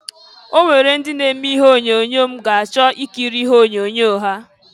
Onwere ndị na-eme ihe onyoonyo m ga achọ ikiri onyoonyo ha.